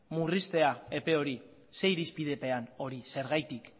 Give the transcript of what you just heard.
murriztea epe hori zer irizpidepean hori zergatik